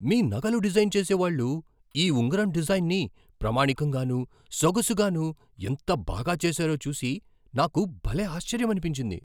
మీ నగలు డిజైన్ చేసేవాళ్ళు ఈ ఉంగరం డిజైన్ని ప్రామాణికంగానూ, సొగసుగానూ ఎంత బాగా చేసారో చూసి నాకు భలే ఆశ్చర్యమనిపించింది.